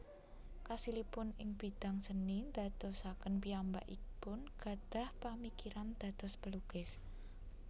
Kasilipun ing bidang seni ndadosaken piyambakipun gadhah pamikiran dados pelukis